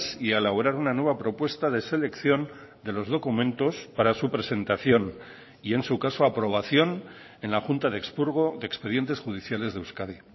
y a elaborar una nueva propuesta de selección de los documentos para su presentación y en su caso aprobación en la junta de expurgo de expedientes judiciales de euskadi